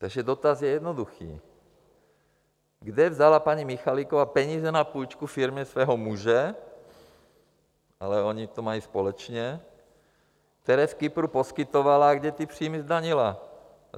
Takže dotaz je jednoduchý: kde vzala paní Michaliková peníze na půjčku firmě svého muže - ale oni to mají společně - které z Kypru poskytovala, a kde ty příjmy zdanila?